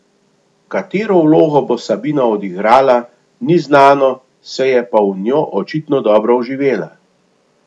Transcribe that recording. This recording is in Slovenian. Katero vlogo bo Sabina odigrala, ni znano, se je pa v njo očitno dobro vživela.